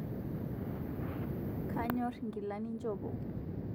Kanyor ngila ninjopo